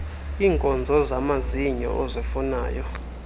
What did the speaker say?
iinkonzo zamazinyo ozifumanayo